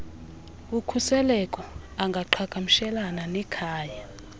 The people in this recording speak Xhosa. ukhuseleko angaqhagamshelana nekhaya